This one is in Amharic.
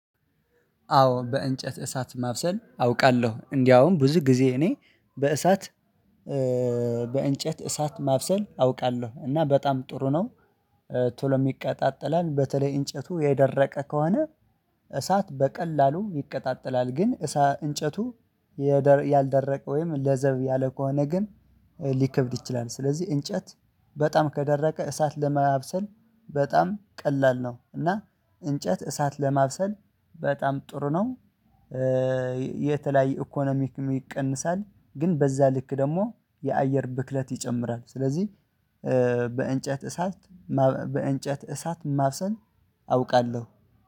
አዎ በእንጨት እሳት ማብሰል አውቃለሁ እንደውም ብዙ ጊዜ እኔ በእሳት እሳት ማብሰል አውቃለሁ እና በጣም ጥሩ ነው። ቶሎም ይቀጣጠላል በተለይ እንጨቱ የደረቀ ከሆነ። እሳት በቀላሉ ይቅጣጠላል ግን እሳ እንጨቱ። ወይም ለዘብ ያለ ከሆነ ግን ሊከብድ ይችላል። ስለዚህ እንጨት በጣም ከደረቀ እሳት ለማብሰል በጣም ቀላል ነው። እና እንጨት እሳት ለማብሰል በጣም ጥሩ ነው። የተለያዩ ኢኮኖሚክ ይቀንሳል ግን በዛ ልክ ደግሞ የአየር ብክለት ይጨምራል። ስለዚህ በእንጨት እሳት በእንጨት እሳት ማብሰል አውቃለሁ